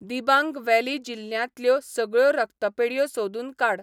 Dibang valley जिल्ल्यांतल्यो सगळ्यो रक्तपेढयो सोदून काड.